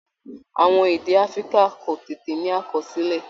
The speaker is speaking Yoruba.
Àwọn èdè Africa kò tètè ní àkọsílẹ̀